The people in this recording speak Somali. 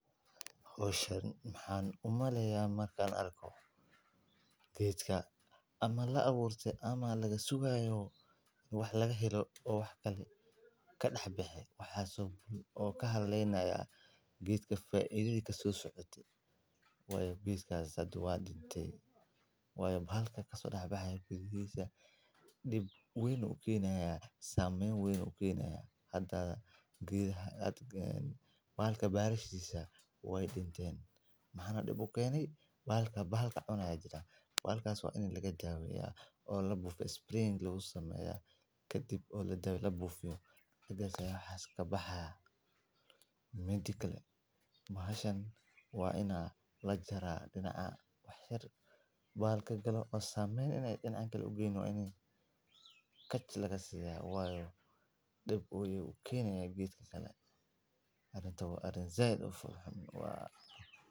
Howshan maxaan u maleynayaa marka aan arko geedka la abuuray ama laga sugayo wax la helo, ama wax kale ka dhex baxaya oo ka haleynayo geedka, faa’iidada ka soo socota geedka. Waayo, bahalka ka soo dhex baxaya gudaha geedka dhib weyn ayuu u keenayaa iyo saameyn weyn ayuu u keenayaa geedaha. Bahalka balashiisa way dhinteen, maxaana dib u keenay? Bahalka cunaya jiro. Bahalkaas waa in laga daaweeyo oo la buufiyo spraying lagu sameeyo kadibna la buufiyo intuu wax kasoo baxayo. Midda kale, bahashan waa in la jaraa dhinaca wax yar intuusan dhinaca kale u geynin. Waa in kaalmo laga siiyo, waayo dhib ayuu u keenayaa geedka kale. Arrintu waa arrin si aad ah u foolxun